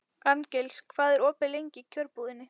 Arngils, hvað er opið lengi í Kjörbúðinni?